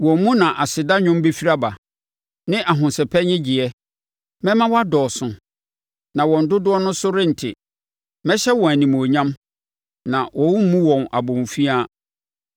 Wɔn mu na aseda nnwom bɛfiri aba ne ahosɛpɛ nnyegyeɛ. Mɛma wɔadɔɔso, na wɔn dodoɔ no so rente; mɛhyɛ wɔn animuonyam, na wɔremmu wɔn abomfiaa.